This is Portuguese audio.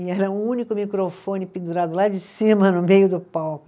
E era um único microfone pendurado lá de cima, no meio do palco.